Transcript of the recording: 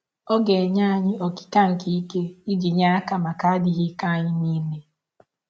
Ọ ga - enye anyị “ ọkịka nke ike ” iji nye aka maka adịghị ike anyị nile.